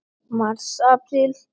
Mars Apríl